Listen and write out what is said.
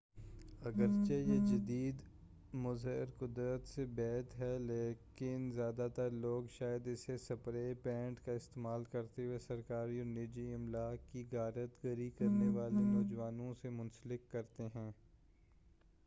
اگرچہ یہ جدید مظہر قدرت سے بعید ہے لیکن زیادہ تر لوگ شاید اسے سپرے پینٹ کا استعمال کرتے ہوئے سرکاری اور نجی املاک کی غارت گری کرنے والے نوجوانوں سے منسلک کرتے ہیں